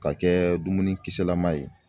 Ka kɛ dumuni kisɛlama ye.